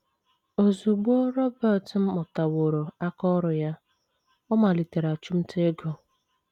Ozugbo Robert mụtaworo aka ọrụ ya, ọ malitere achụmnta ego.